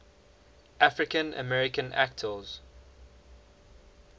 african american actors